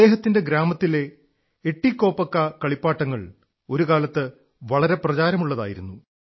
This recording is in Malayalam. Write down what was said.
അദ്ദേഹത്തിന്റെ ഗ്രാമത്തിലെ എതികോപ്പക്ക കളിപ്പാട്ടങ്ങൾ ഒരു കാലത്ത് വളരെ പ്രചാരമുള്ളതായിരുന്നു